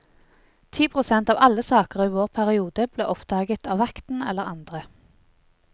Ti prosent av alle saker i vår periode ble oppdaget av vakten eller andre.